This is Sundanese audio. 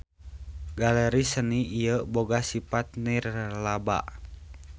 Galeri seni ieu boga sipat nirlaba.